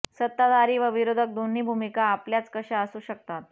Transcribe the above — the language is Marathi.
सत्ताधारी व विरोधक दोन्ही भूमिका आपल्याच कशा असू शकतात